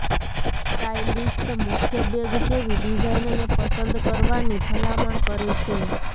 stylist મુખ્ય bag જેવી ડિઝાઇનને પસંદ કરવાની ભલામણ કરે છે